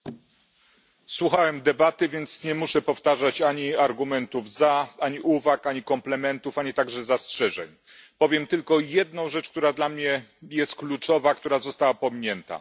Panie Przewodniczący! Słuchałem debaty, więc nie muszę powtarzać ani argumentów za, ani uwag, ani komplementów, ani także zastrzeżeń. Powiem tylko jedną rzecz, która dla mnie jest kluczowa, która została pominięta.